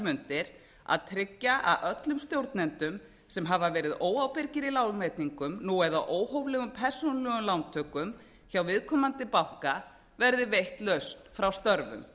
mundir að tryggja að öllum stjórnendum sem hafa verið óábyrgir í lánveitingum eða óhóflegum persónulegum lántökum hjá viðkomandi banka verði veitt lausn hjá störfum